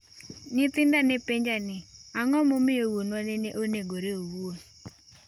‘Nyithinda ne penja ni ang’o momiyo wuonwa nene onegore owuon?